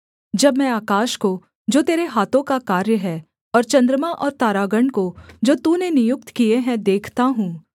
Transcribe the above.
जब मैं आकाश को जो तेरे हाथों का कार्य है और चन्द्रमा और तरागण को जो तूने नियुक्त किए हैं देखता हूँ